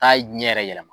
K'a ɲɛ yɛrɛ yɛlɛma